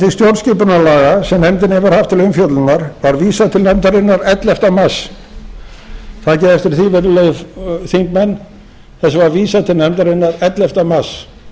til stjórnskipunarlaga sem nefndin hefur haft til umfjöllunar var vísað til nefndarinnar ellefta mars síðastliðinn takið eftir því virðulegir þingmenn þessu var vísað til nefndarinnar ellefta mars